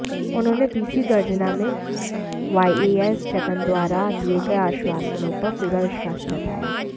उन्होंने बीसी गर्जना में वाईएस जगन द्वारा दिए गए आश्वासनों पर पूरा विश्वास जताया